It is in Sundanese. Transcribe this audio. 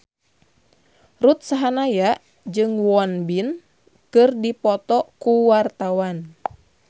Ruth Sahanaya jeung Won Bin keur dipoto ku wartawan